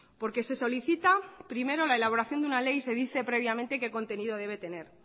porque se solicita primero la elaboración de una ley y se dice previamente qué contenido debe tener